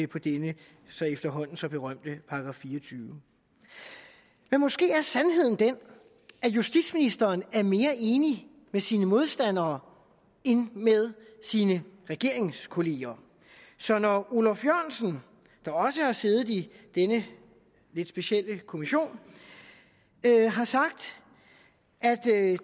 på denne efterhånden så berømte § fireogtyvende men måske er sandheden den at justitsministeren er mere enig med sine modstandere end med sine regeringskolleger så når olaf jørgensen der også har siddet i denne lidt specielle kommission har sagt at